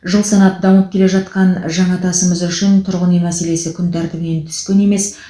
жыл санап дамып келе жатқан жаңатасымыз үшін тұрғын үй мәселесі күн тәртібінен түскен емес